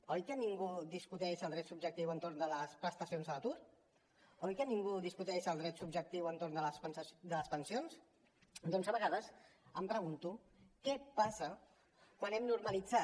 oi que ningú discuteix el dret subjectiu entorn de les prestacions a l’atur oi que ningú discuteix el dret subjectiu entorn de les pensions doncs a vegades em pregunto què passa quan hem normalitzat